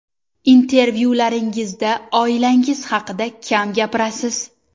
Intervyularingizda oilangiz haqida kam gapirasiz?